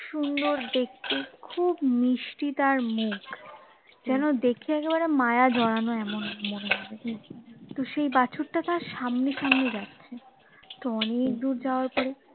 সুন্দর দেখতে খুব মিষ্টি তার মুখ যেন দেখে একেবারে মায়া জড়ানো এমন মনে হবে তো সেই বাছুর টা তার সামনে সামনে যাচ্ছে তো অনেক দূরে যাওয়ার পরে